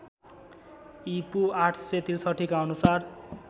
ईपू ८६३ का अनुसार